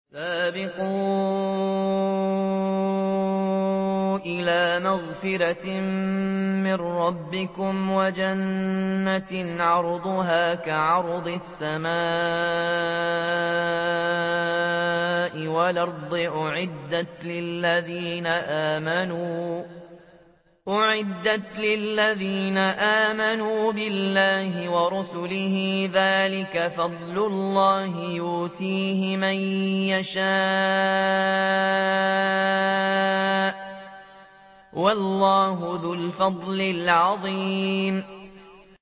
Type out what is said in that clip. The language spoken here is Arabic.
سَابِقُوا إِلَىٰ مَغْفِرَةٍ مِّن رَّبِّكُمْ وَجَنَّةٍ عَرْضُهَا كَعَرْضِ السَّمَاءِ وَالْأَرْضِ أُعِدَّتْ لِلَّذِينَ آمَنُوا بِاللَّهِ وَرُسُلِهِ ۚ ذَٰلِكَ فَضْلُ اللَّهِ يُؤْتِيهِ مَن يَشَاءُ ۚ وَاللَّهُ ذُو الْفَضْلِ الْعَظِيمِ